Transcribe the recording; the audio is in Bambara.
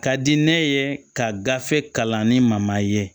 Ka di ne ye ka gafe kalan ni ma ye